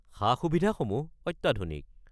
সা-সুবিধাসমূহ অত্যাধুনিক।